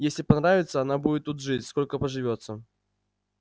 если понравится она будет тут жить сколько поживётся